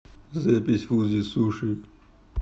запись фудзи суши